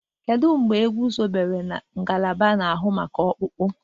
Kedụ mgbe egwuzobere ngalaba na-ahụ maka ọkpụkpụ?